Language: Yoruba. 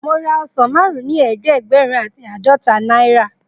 Mo ra ọsán márún ni eedegberun ati aadọta náírà.